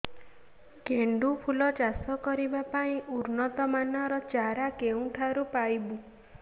ଗେଣ୍ଡୁ ଫୁଲ ଚାଷ କରିବା ପାଇଁ ଉନ୍ନତ ମାନର ଚାରା କେଉଁଠାରୁ ପାଇବୁ